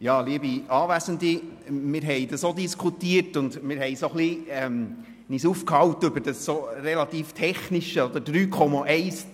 Wir haben das auch diskutiert und uns etwas über das relativ Technische aufgehalten: